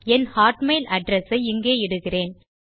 என் Hotmail address ஐ இங்கே இடுகிறேன்